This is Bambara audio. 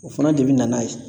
O fana de bi na n'a ye.